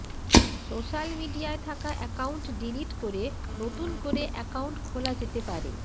social মিডিয়ায় থাকা account delete করে নতুন করে অ্যাকাউন্ট খোলা যেতে পারে